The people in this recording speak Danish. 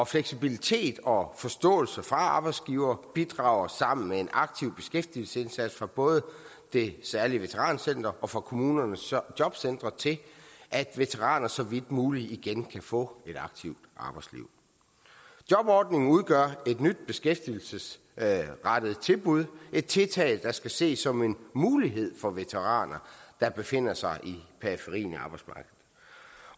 fleksibilitet og forståelse fra arbejdsgiver bidrager sammen med en aktiv beskæftigelsesindsats fra både det særlig veterancenter og fra kommunernes jobcentre til at veteraner så vidt muligt igen kan få et aktivt arbejdsliv jobordningen udgør et nyt beskæftigelsesrettet tilbud et tiltag der skal ses som en mulighed for veteraner der befinder sig i periferien